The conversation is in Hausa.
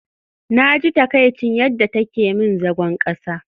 Naji takaicin yadda take min zagon kasa